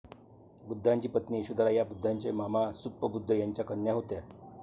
बुद्धांची पत्नी यशोधरा ह्या बुद्धांचे मामा सुप्पबुद्ध यांच्या कन्या होत्या.